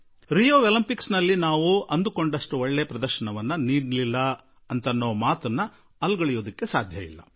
ನಮ್ಮ ಆಸೆಗೆ ಅನುರೂಪವಾಗಿ ನಾವು ಪ್ರದರ್ಶನ ನೀಡಲಾಗಲಿಲ್ಲ ಎನ್ನುವ ಮಾತನ್ನಂತೂ ನಿರಾಕರಿಸಲು ಬರುವುದಿಲ್ಲ